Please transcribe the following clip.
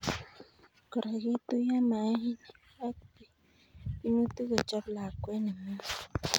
Kora ketuyo mainik ak binutik kochob lakwet neming'in.